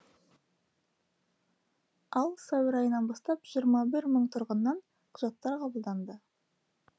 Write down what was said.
ал сәуір айынан бастап жиырма мың тұрғыннан құжаттар қабылданды